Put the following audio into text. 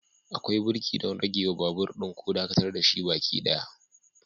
Akwai birki don ragewa babur ɗin ko dakatar da shi gaba ɗaya.